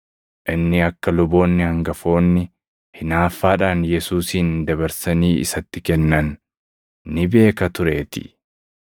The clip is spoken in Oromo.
inni akka luboonni hangafoonni hinaaffaadhaan Yesuusin dabarsanii isatti kennan ni beeka tureetii.